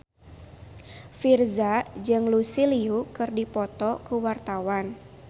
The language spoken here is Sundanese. Virzha jeung Lucy Liu keur dipoto ku wartawan